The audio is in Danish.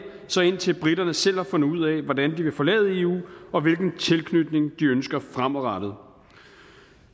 så indtil briterne selv har fundet ud af hvordan de vil forlade eu og hvilken tilknytning de ønsker fremadrettet